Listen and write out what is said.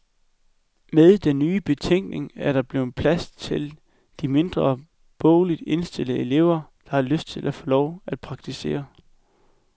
Med den nye betænkning er der blevet plads til de mindre bogligt indstillede elever, der har lyst til at få lov at praktisere.